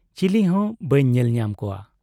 ᱪᱤᱞᱤ ᱦᱚᱸ ᱵᱟᱹᱧ ᱧᱮᱞ ᱧᱟᱢ ᱠᱚᱣᱟ ᱾